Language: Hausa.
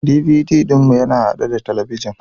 DVD ɗin mu yana haɗe da talabijin